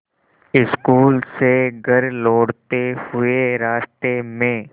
school से घर लौटते हुए रास्ते में